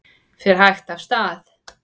Fer hægt af stað